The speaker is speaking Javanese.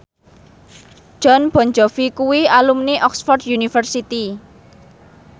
Jon Bon Jovi kuwi alumni Oxford university